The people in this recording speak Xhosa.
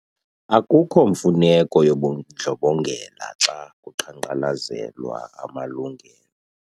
Akukho mfuneko yobundlobongela xa kuqhankqalazelwa amalungelo.